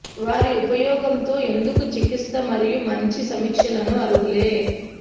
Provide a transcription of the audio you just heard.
వారి ఉపయోగం తో ఎందుకు చికిత్స మరియు మంచి సమీక్షలను అర్హులే